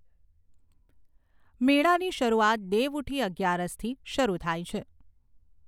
મેળાની શરૂઆત દેવઉઠી અગિયારસથી શરૂ થાય છે.